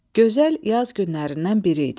Gözəl yaz günlərindən biri idi.